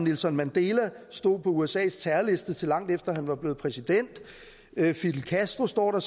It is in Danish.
nelson mandela stod på usas terrorliste til langt efter han var blevet præsident fidel castro står der